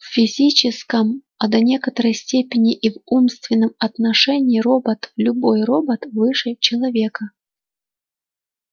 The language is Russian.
в физическом а до некоторой степени и в умственном отношении робот любой робот выше человека